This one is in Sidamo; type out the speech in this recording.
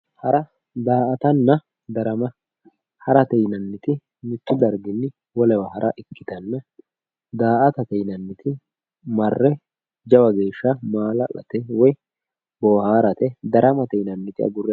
hara, daa''atanna, darama harate yinanniti mittu darginni wolewa hara ikkitanna daa''atate yinanniti marre jawa geeshsha maala'late daramate yinanniti agurre harate.